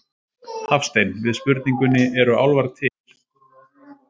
Hafstein við spurningunni Eru álfar til?